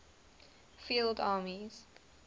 field armies